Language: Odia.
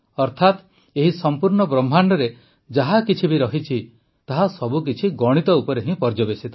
ଅର୍ଥାତ ଏହି ସମ୍ପୂର୍ଣ୍ଣ ବ୍ରହ୍ମାଣ୍ଡରେ ଯାହା କିଛି ବି ରହିଛି ତାହା ସବୁକିଛି ଗଣିତ ଉପରେ ହିଁ ପର୍ଯ୍ୟବେସିତ